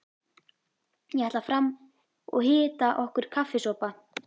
Ég ætla fram og hita okkur kaffisopa.